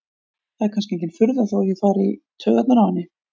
Það er kannski engin furða þótt ég fari í taugarnar á henni.